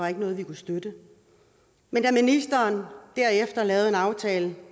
er noget vi kan støtte men da ministeren derefter lavede en aftale